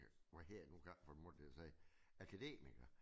Hvad hedder det nu kan ikke få min mund til at sige akademiker